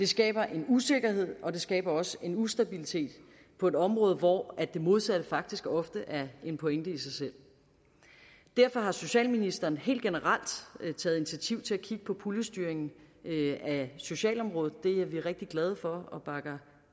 skaber en usikkerhed og det skaber også en ustabilitet på et område hvor det modsatte faktisk ofte er en pointe i sig selv derfor har socialministeren helt generelt taget initiativ til at kigge på puljestyringen af socialområdet det er vi rigtig glade for og bakker